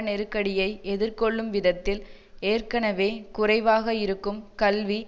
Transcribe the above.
நெருக்கடியை எதிர்கொள்ளும் விதத்தில் ஏற்கனவே குறைவாக இருக்கும் கல்வி